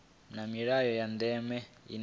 na milayo ya ndeme ine